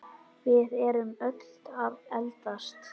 Við erum öll að eldast.